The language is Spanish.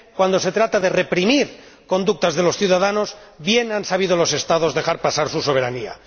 Cuando se trata de reprimir conductas de los ciudadanos bien han sabido los Estados dejar pasar su soberanía.